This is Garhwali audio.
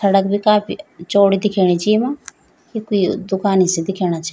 सड़क भी काफी चौड़ी दिख्येणी च येमा यी कुई दुकानी सी दिख्येणा छ।